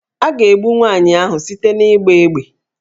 A ga-egbu nwaanyị ahụ site n'ịgba égbè